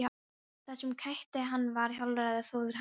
Það sem kætti hann var hollráð föður hans.